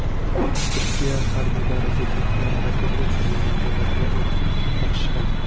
Turkiya harbiylari zudlik bilan raketa uchirilgan joylarga o‘t ochishgan.